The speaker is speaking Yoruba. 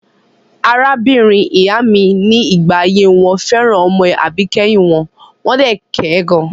Arábìnrin ìyá mi ní ìgbà ayé wọn fẹ́ràn ọmọ àbíkẹ́yìn wọn, wọ́n dẹ̀ kẹ gan.